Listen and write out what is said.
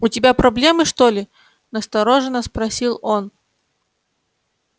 у тебя проблемы что ли настороженно спросил он